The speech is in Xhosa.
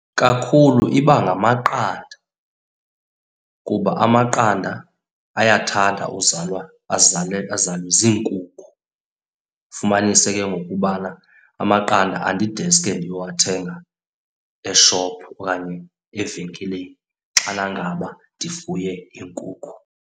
Kakhulu iba ngamaqanda kuba amaqanda ayathanda uzalwa azalwe ziinkukhu. Ufumanise kengoku ubana amaqanda andideske ndiyowahenga eshophu okanye evenkileni xana ngaba ndifuye iinkukhu.